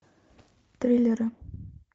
триллеры